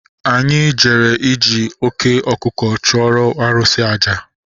Anyị jere iji oké ọkụkọ chụọrọ arụsị àjà